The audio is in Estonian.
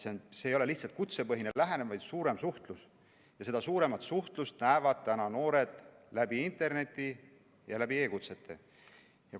See ei ole lihtsalt kutsepõhine lähenemine, vaid suurem suhtlus, ja seda suuremat suhtlust tahavad noored näha interneti ja e-kutsete kaudu.